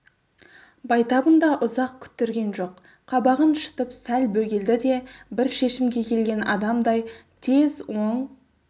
байтабын да ұзақ күттірген жоқ қабағын шытып сәл бөгелді де бір шешімге келген адамдай тез оң